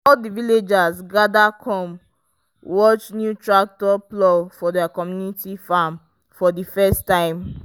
all the villagers gather come watch new tractor plow their community farm for the first time.